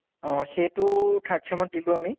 অহ সেইটো third sem ত দিলো আমি